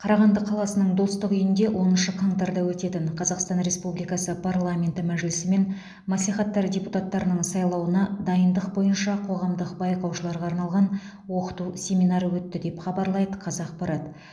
қарағанды қаласының достық үйінде оныншы қаңтарда өтетін қазақстан республикасы парламенті мәжілісі мен мәслихаттары депутаттарының сайлауына дайындық бойынша қоғамдық байқаушыларға арналған оқыту семинары өтті деп хабарлайды қазақпарат